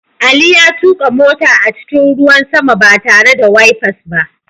Ali ya tuka mota a cikin ruwan sama ba tare da wifers ba.